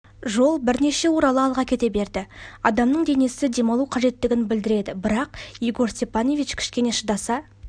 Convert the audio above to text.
жол бірнеше орала алға кете берді адамның денесі демалу қажеттігін білдіреді бірақ егор степанович кішкене шыдаса